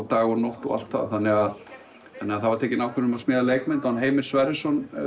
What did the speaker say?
dag og nótt og allt það það var tekin ákvörðun um að smíða leikmynd Heimir Sverrisson